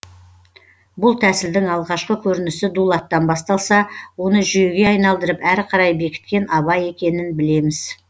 бұл тәсілдің алғашқы көрінісі дулаттан басталса оны жүйеге айналдырып әрі қарай бекіткен абай екенін білеміз